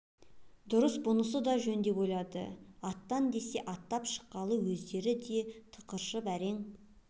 дұрыс бұнысы да жөн деп ойлады аттан десе атып шыққалы өздері де тықыршып әрең